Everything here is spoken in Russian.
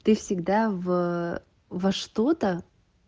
ты всегда в во что-то